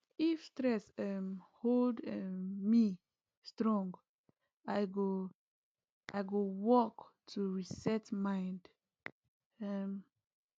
if stress um hold um me strong i go i go walk to reset mind um